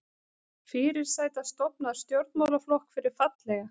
Fyrirsæta stofnar stjórnmálaflokk fyrir fallega